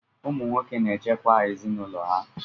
Ụmụ nwoke na-echekwa ezinụlọ ha.